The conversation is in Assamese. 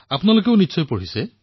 আপোনালোকেও হয়তো পঢ়িছে